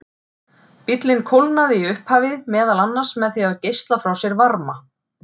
Bíllinn kólnaði í upphafi meðal annars með því að geisla frá sér varma.